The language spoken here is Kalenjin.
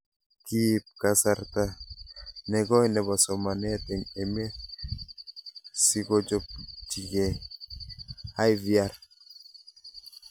Kiip kasarta ne koi nepo somanet eng' emet sikochopchikei IVR